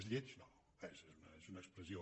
és lleig no és una expressió